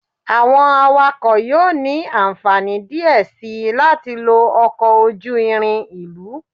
Awọn awakọ yoo ni anfani diẹ sii lati lo ọkọ oju-irin ilu